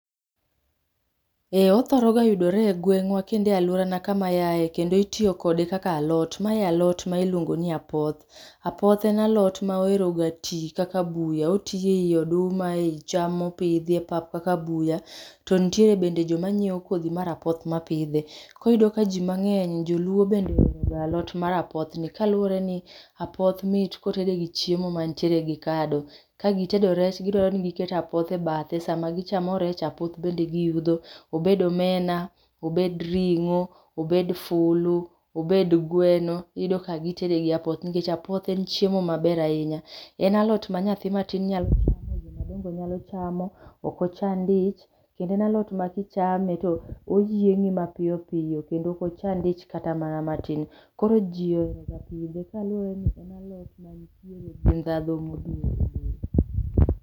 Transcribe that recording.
Ee othoroga yudore e gweng'wa kendo e aluorana kama aaye, kendo itiyo kode kaka alot. Mae alot ma iluongo ni apoth. Apoth en alot moheroga twi kaka buya, otwi ei oduma, otwi ei cham mopidhi epap kaka buyo to nitiere bende joma nyiewo kodhi mar apoth ma pidhe. Koyudo ka ji mmang'eny joluo bende ohero ga alot mar apothni, kaluwore ni apoth mit ka otede gi chiemo mantiere gi kado. Ka gitedo rech to gidwaro ni giket apoth e bathe. Sama gichamo rech , to apoth bende giyudho. Obed omena, obed ring'o, obed fulu, obed gweno, iyudo ka gitede gi apoth nikech apoth en chiemo maber ahinya. Ka en alot ma nyathi matin nyalo chamo, joma dongo nyalo chamo. Ok ochand ich, kendo en alot ma kichame to oyieng'i mapiyo piyo. Kendo ok ochand ich kata mana matin. Koro ji oheroga pidhe kaluwore ni en alot man tiere gi ndhadhu modhuro.